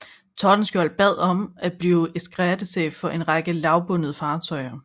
Tordenskjold bad om at blive eskadrechef for en række lavbundede fartøjer